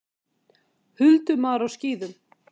Huldumaður á skíðum!